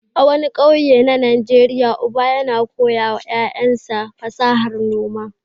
A wani ƙauye na Najeriya, uba yana koya wa ƴaƴansa fasahar noma.